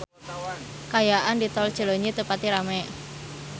Kaayaan di Tol Cileunyi teu pati rame